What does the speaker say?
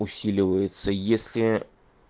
усиливается если